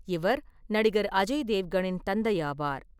இவர் நடிகர் அஜய் தேவ்கனின் தந்தையாவார்.